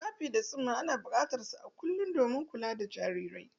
Wipes and napkins are needed for daily infant care.